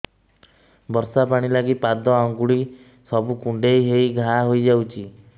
ବର୍ଷା ପାଣି ଲାଗି ପାଦ ଅଙ୍ଗୁଳି ସବୁ କୁଣ୍ଡେଇ ହେଇ ଘା ହୋଇଯାଉଛି